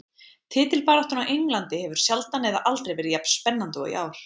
Titilbaráttan á Englandi hefur sjaldan eða aldrei verið jafn spennandi og í ár.